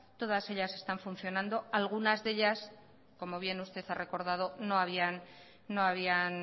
todas ellas están funcionando algunas de ellas como bien usted ha recordado